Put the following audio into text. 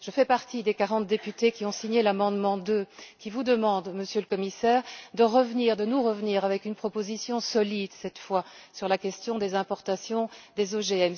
Je fais partie des quarante députés qui ont signé l'amendement 2, lequel vous demande, Monsieur le Commissaire, de revenir, de nous revenir, avec une proposition solide, cette fois, sur la question des importations des OGM.